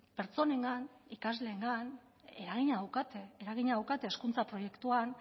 pertsonengan ikasleengan eragina daukate eragina daukate hezkuntza proiektuan